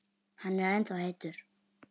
Hann er ennþá heitur.